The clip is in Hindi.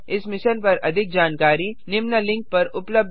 इस मिशन पर अधिक जानकारी निम्न लिंक पर उपलब्ध है